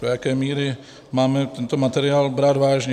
Do jaké míry máme tento materiál brát vážně?